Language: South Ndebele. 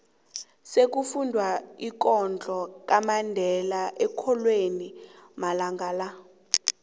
sekufundwa umlando kamandela eenkolweni amalanga la